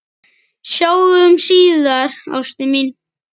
Sjáumst síðar, ástin mín.